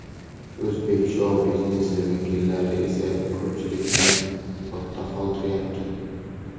O‘zbek shou-biznesi vakillari esa ko‘pchilikni ortda qoldiryapti!